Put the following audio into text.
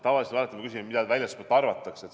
Tavaliselt me alati küsime, mida väljaspool arvatakse.